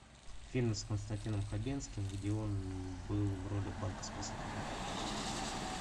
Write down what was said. фильм с константином хабенским где он был в роли банковского сотрудника